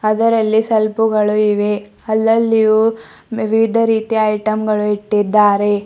ಅದರಲ್ಲಿ ಸೆಲ್ಫು ಗಳು ಇವೆ ಅಲ್ಲಲ್ಲಿಯೂ ವಿವಿಧ ರೀತಿಯ ಐಟಂ ಗಳು ಇಟ್ಟಿದ್ದಾರೆ.